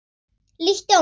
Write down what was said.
Líttu á mig.